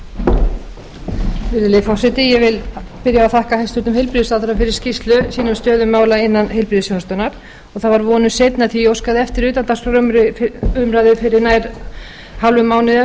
vil byrja á því að þakka hæstvirtum heilbrigðisráðherra fyrir skýrslu sína um stöðu mála innan heilbrigðisþjónustunnar það var vonum seinna því að ég óskaði eftir utandagskrárumræðu fyrir rúmum hálfum